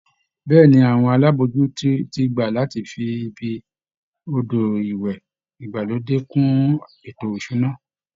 Bẹ́ẹ̀ ni, àwọn alábòójútó ti gbà láti fi ibi odò ìwẹ̀ ìgbàlódé kún ètò ìṣúná